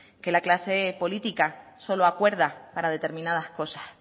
que la clase política solo acuerda para determinadas cosas